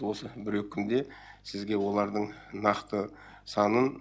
осы бір екі күнде сізге олардың нақты санын